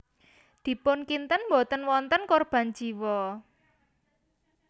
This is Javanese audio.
Dipun kinten boten wonten korban jiwa